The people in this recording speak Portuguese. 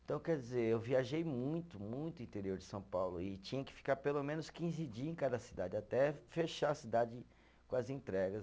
Então, quer dizer, eu viajei muito, muito interior de São Paulo e tinha que ficar pelo menos quinze dias em cada cidade, até fechar a cidade com as entregas.